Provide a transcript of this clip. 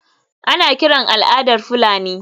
Ana kiran al’adar Fulani.